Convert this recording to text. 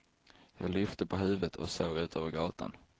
Jag lyfte på huvudet och såg ut över gatan.